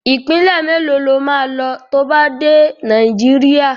Ìpínlẹ̀ mélòó lo máa lọ to bá dé Nàìjíríà?